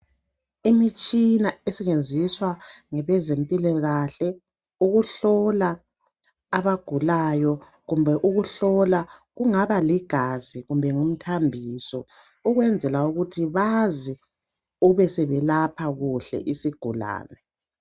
Imitshina esetshenziswa ngabezempilakahle ukuhlola abangulayo kumbe ukuhlola okungaba ligazi kumbe okungaba ngumthambiso ukwenzela ukuthi bazi ukusiyelapha kuhle isigulani